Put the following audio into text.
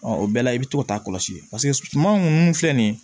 Ɔ o bɛɛ la i bɛ t'o ta kɔlɔsi paseke suman ninnu filɛ nin ye